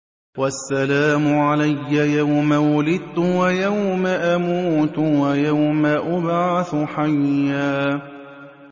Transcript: وَالسَّلَامُ عَلَيَّ يَوْمَ وُلِدتُّ وَيَوْمَ أَمُوتُ وَيَوْمَ أُبْعَثُ حَيًّا